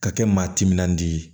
Ka kɛ maa timinandiya ye